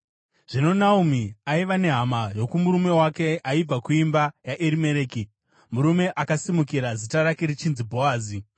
Zvino Naomi aiva nehama yokumurume wake, aibva kuimba yaErimereki, murume akasimukira, zita rake richinzi Bhoazi.